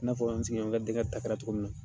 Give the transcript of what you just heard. I n'a fɔ n sigiɲɔgɔnkɛ denkɛ ta kɛra cogo min na.